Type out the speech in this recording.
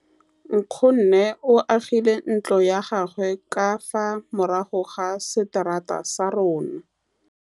Nkgonne o agile ntlo ya gagwe ka fa morago ga seterata sa rona.